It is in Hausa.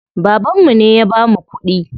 Babanmu ne ya bamu kuɗi.